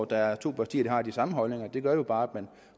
der er to partier der har de samme holdninger det gør jo bare